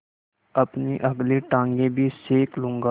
अपनी अगली टाँगें भी सेक लूँगा